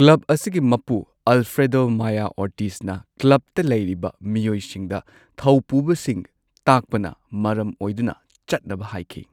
Club ꯑꯁꯤꯒꯤ ꯃꯄꯨ Alfredo Maya ꯑꯣꯔꯇꯤꯖꯅ ꯀ꯭ꯂꯕꯇ ꯂꯩꯔꯤꯕ ꯃꯤꯑꯣꯏꯁꯤꯡꯗ ꯊꯧꯄꯨꯕꯁꯤꯡ ꯇꯥꯛꯄꯅ ꯃꯔꯝ ꯑꯣꯏꯗꯨꯅ ꯆꯠꯅꯕ ꯍꯥꯏꯈꯤ꯫